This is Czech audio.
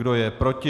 Kdo je proti?